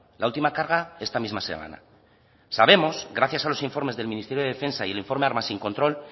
la última carga esta misma semana sabemos gracias a los informes del ministerio de defensa y el informe armas sin control